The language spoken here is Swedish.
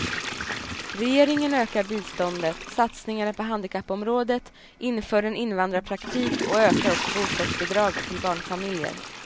Regeringen ökar biståndet, satsningarna på handikappområdet, inför en invandrarpraktik och ökar också bostadsbidraget till barnfamiljer.